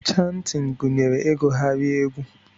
Chantin gunyere igughari egwu.